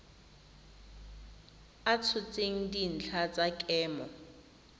a tshotseng dintlha tsa kemo